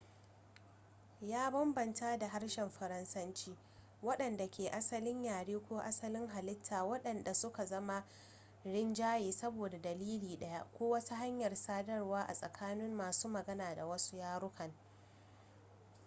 ya bambanta da harshen faransanci waɗanda ke asalin yare ko asalin halitta waɗanda suka zama rinjaye saboda dalili ɗaya ko wata hanyar sadarwa a tsakanin masu magana da wasu yarukan